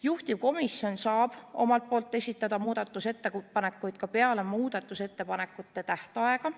Juhtivkomisjon saab omalt poolt esitada muudatusettepanekuid ka peale muudatusettepanekute tähtaega.